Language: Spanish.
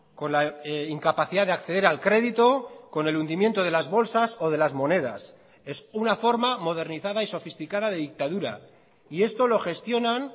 con la incapacidad de acceder al crédito con el hundimiento de las bolsas o de las monedas es una forma modernizada y sofisticada de dictadura y esto lo gestionan